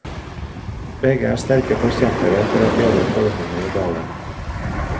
Begge er sterke forkjempere for å bedre forholdene i dalen.